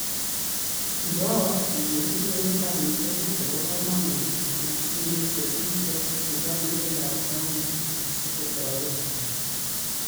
Iroo ile itinye nambarishek chebo komonut eng simet chebun serikalishekab kaunti asi kotoretin